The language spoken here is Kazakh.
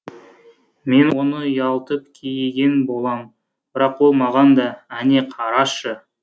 мен оны ұялтып кейіген болам бірақ ол маған да әне қарашы